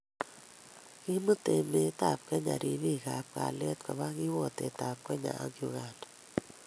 kimut emet ab kenya ripik ab kalyet koba kiwatoit ab Kenya ak Uganda